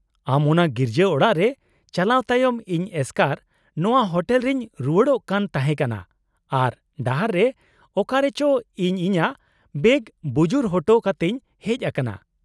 -ᱟᱢ ᱚᱱᱟ ᱜᱤᱨᱡᱟᱹ ᱚᱲᱟᱜ ᱨᱮ ᱪᱟᱞᱟᱣ ᱛᱟᱭᱚᱢ, ᱤᱧ ᱮᱥᱠᱟᱨ ᱱᱚᱶᱟ ᱦᱳᱴᱮᱞ ᱨᱮᱧ ᱨᱩᱣᱟᱹᱲᱚᱜ ᱠᱟᱱ ᱛᱟᱦᱮᱸ ᱠᱟᱱᱟ ᱟᱨ ᱰᱟᱦᱟᱨ ᱨᱮ ᱚᱠᱟᱨᱮ ᱪᱚ ᱤᱧ ᱤᱧᱟᱹᱜ ᱵᱮᱜᱽ ᱵᱩᱡᱩᱨ ᱦᱚᱴᱚ ᱠᱟᱛᱮᱧ ᱦᱮᱡ ᱟᱠᱟᱱᱟ ᱾